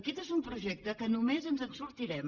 aquest és un projecte que només ens en sortirem